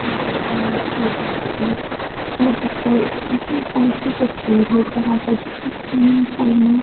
pool की तस्वीर है जहाँ पर स्विमिंग पूल में --